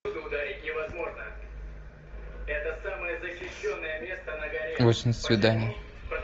восемь свиданий